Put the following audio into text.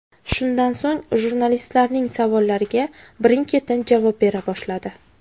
Shundan so‘ng jurnalistlarning savollariga birin-ketin javob bera boshladi.